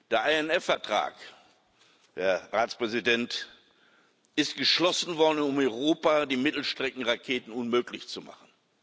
Der INF Vertrag, Herr Ratspräsident, ist geschlossen worden, um in Europa die Mittelstreckenraketen unmöglich zu machen.